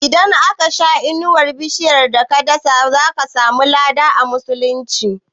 Idan aka sha inuwar bishiyar da ka dasa, zaka samu lada a musulunci